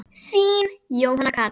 Þín, Jóhanna Katrín.